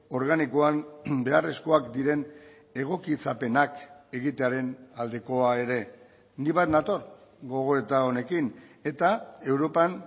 organikoan beharrezkoak diren egokitzapenak egitearen aldekoa ere ni bat nator gogoeta honekin eta europan